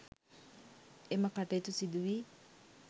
එම කටයුතු සිදු වී